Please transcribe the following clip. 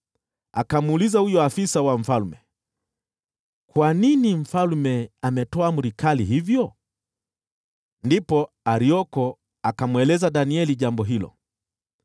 Akamuuliza huyo afisa wa mfalme, “Kwa nini mfalme ametoa amri kali hivyo?” Ndipo Arioko akamweleza Danieli jambo hilo.